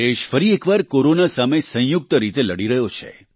દેશ ફરી એકવાર કોરોના સામે સંયુક્ત રીતે લડી રહ્યો છે